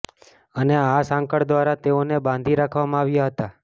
અને આ સાંકળ દ્વારા તેઓને બાંધી રાખવામાં આવ્યા હતા